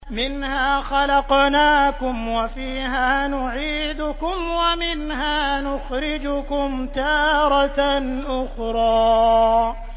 ۞ مِنْهَا خَلَقْنَاكُمْ وَفِيهَا نُعِيدُكُمْ وَمِنْهَا نُخْرِجُكُمْ تَارَةً أُخْرَىٰ